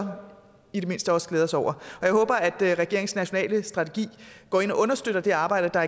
i det mindste også glæde os over jeg håber at regeringens nationale strategi går ind og understøtter det arbejde der